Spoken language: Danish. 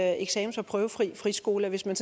eksamens og prøvefri friskoler hvis man